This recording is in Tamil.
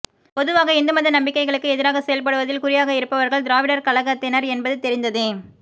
பொதுவாக இந்து மத நம்பிக்கைகளுக்கு எதிராக செயல்படுவதில் குறியாக இருப்பவர்கள் திராவிடர் கழகத்தினர் என்பது தெரிந்ததே